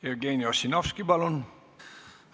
Jevgeni Ossinovski, palun!